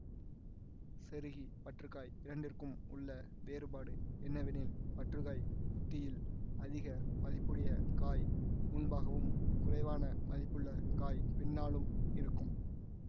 செருகி பற்றுக்காய் இரண்டிற்கும் உள்ள வேறுபாடு என்னவெனில் பற்றுக்காய் உத்தியில் அதிக மதிப்புடைய காய் முன்பாகவும் குறைவான மதிப்புள்ள காய் பின்னாலும் இருக்கும்